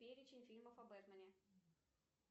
перечень фильмов о бэтмэне